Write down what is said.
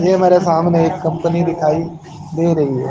ये मेरे सामने एक कंपनी दिखाई दे रही है।